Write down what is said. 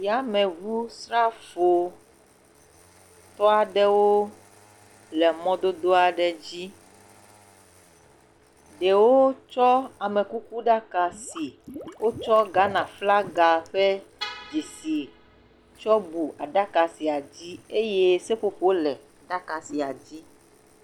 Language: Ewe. yameʋu srafo tɔ aɖewo le mɔdodo aɖe dzi ɖewo tsɔ amekuku ɖaka si wótsɔ Ghana flaga ƒe dzesi tsɔ bu aɖaka sia dzi ye seƒoƒo le aɖaka sia dzi